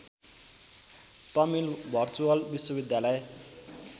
Tamil virtual विश्वविद्यालय